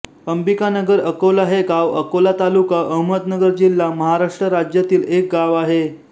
अंबिकानगर अकोला हे गाव अकोला तालुका अहमदनगर जिल्हा महाराष्ट्र राज्यातील एक गाव आहे